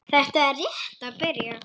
Þetta er rétt að byrja.